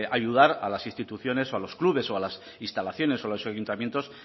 ayudar a las instituciones o a los clubes o a las instalaciones a los ayuntamientos